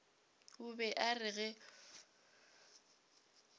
o be a re ge